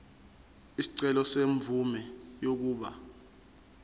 isicelo semvume yokuba